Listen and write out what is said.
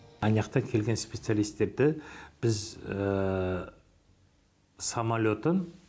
аняқтан келген специалистерді біз самолетін